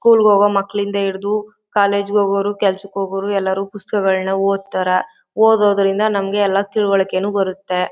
School ಗೆ ಹೋಗುವ ಮಕ್ಕಳಿಂದ ಹಿಡಿದು ಕಾಲೇಜು ಹೋಗೋರು ಕೆಲಸಾಕ್ಕೆ ಹೋಗೋರು ಎಲ್ಲರು ಪುಸ್ತಕಗಳನ್ನು ಓಡ್ತಾರ . ಓದೋದ್ರಿಂದ ನಮಗೆ ಎಲ್ಲ ತಿಳುವಳಿಕೆನು ಬರುತ್ತೆ.